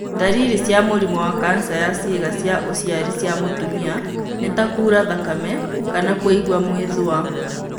Ndariri cia mũrimũ wa kanca ya ciĩga cia ũciari cia mũtumia nĩ ta kuura thakame kana kũigua mwĩthũa.